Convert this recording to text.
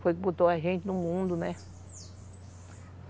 Foi o quem botou a gente no mundo, né?